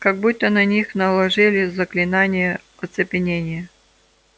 как будто на них наложили заклинание оцепенения